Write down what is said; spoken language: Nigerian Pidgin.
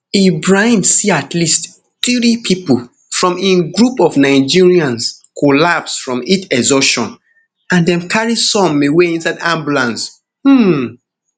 ibrahim see at least three pipo from im group of nigerians collapse from heat exhaustion and dem carry some away inside ambulance um